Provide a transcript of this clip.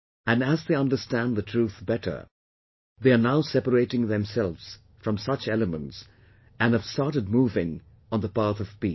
And as they understand the truth better, they are now separating themselves from such elements and have started moving on the path of peace